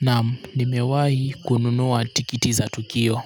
Naam nimewahi kununua tikiti za tukio